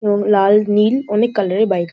এবং লাল নীল অনেক কালার এর বাইক ।